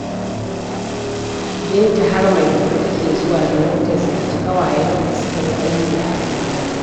Binta har Maiduguri take zuwa domin ta ziyarci ƙawayenta da suka yi aiki a Abuja.